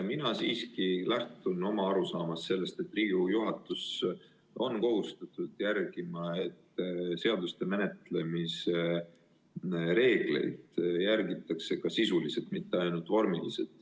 Mina siiski lähtun sellest arusaamast, et Riigikogu juhatus on kohustatud järgima, et seaduste menetlemise reegleid järgitaks ka sisuliselt, mitte ainult vormiliselt.